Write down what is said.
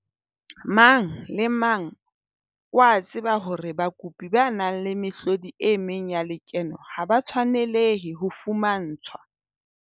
Mang le mang o a tseba hore bakopi ba nang le mehlodi e meng ya lekeno ha ba tshwanelehe ho fumantshwa